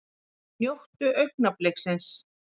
Njótum augnabliksins!